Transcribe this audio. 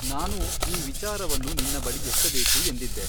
ನಾನೂ ಈ ವಿಚಾರವನ್ನು ನಿನ್ನ ಬಳಿ ಎತ್ತಬೇಕು ಎಂದಿದ್ದೆ.